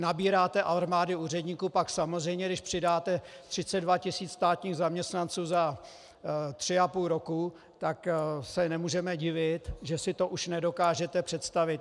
Nabíráte armády úředníků, pak samozřejmě když přidáte 32 tisíc státních zaměstnanců za tři a půl roku, tak se nemůžeme divit, že si to už nedokážete představit.